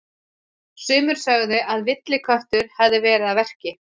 Sumir sögðu að villiköttur hefði verið að verki.